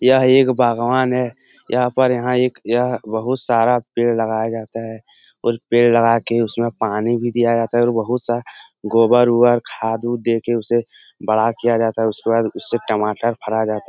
यह एक बागवान है यहाँ पर यहाँ एक यह बहुत सारा पेड़ लगाया जाता है फिर पेड़ लगा के उसमे पानी भी दिया जाता है और बहुत सारा गोबर उबर खाद वाद देकर उसे बड़ा किया जाता है उसके बाद उससे टमाटर फरा जाता --